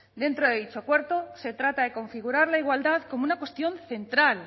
dentro de dicho acuerdo se trata de configurar la igualdad como una cuestión central